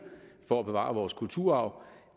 for at bevare vores kulturarv